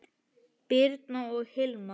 Birna og Hilmar.